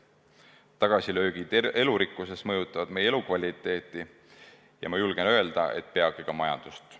Tagasilöögid elurikkuses mõjutavad meie elukvaliteeti ja ma julgen öelda, et peagi ka majandust.